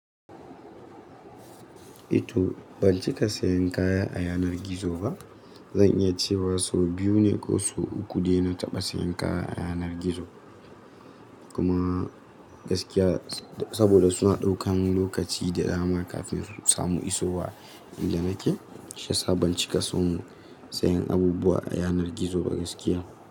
Ito ban cika sayan kaya a yanar gizo ba. Zan iya cewa sau biyu ne ko sau uku dai na taɓa sayan kaya a yanar gizo. Kuma gaskiya saboda suna ɗaukan lokaci da dama kafin su samu isowa. Inda nake shi yasa, ban cika son sayen abubuwa a yanar gizo ba gaskiya.